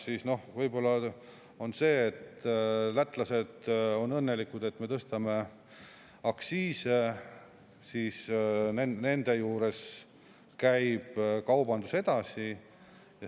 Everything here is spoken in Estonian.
Võib-olla sellest, et lätlased on õnnelikud, et me tõstame aktsiise – nende juures käib kaubandus edasi.